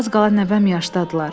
Az qala nəvəm yaşdadırlar.